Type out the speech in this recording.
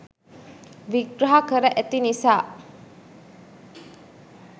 විග්‍රහ කර ඇති නිසා